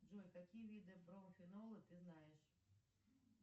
джой какие виды профинола ты знаешь